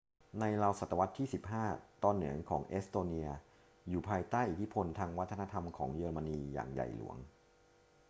ในราวศตวรรษที่ 15 ตอนเหนือของเอสโตเนียอยู่ภายใต้อิทธิพลทางวัฒนธรรมของเยอรมนีอย่างใหญ่หลวง